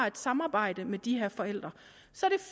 et samarbejde med de her forældre så